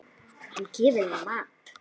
Hann gefur mér mat.